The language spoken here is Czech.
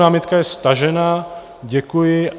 Námitka je stažena, děkuji.